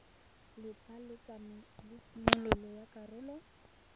letlha la tshimololo ya karolo